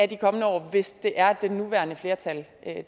de kommende år hvis det er at det nuværende flertal